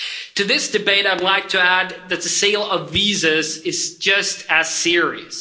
To this debate, I'd like to add that the sale of visas is just as serious.